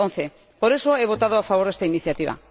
2011. Por eso he votado a favor de esta iniciativa.